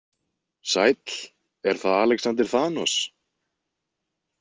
Sæll, er það Alexander Thanos?